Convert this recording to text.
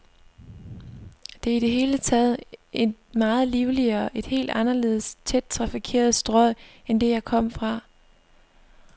Det er i det hele taget et meget livligere, et helt anderledes tæt trafikeret strøg end det, jeg kom fra.